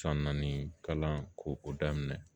San naani kalan ko o daminɛ